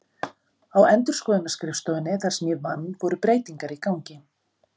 Á endurskoðunarskrifstofunni þar sem ég vann voru breytingar í gangi.